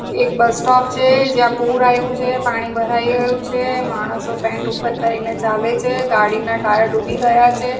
એક bus stop છે જ્યાં પૂર આઈવું છે. પાણી ભરાઈ ગયું છે. માણસો પેન્ટ ઉપર કરીને ચાલે છે. ગાડી ના ટાયર ડૂબી ગયા છે.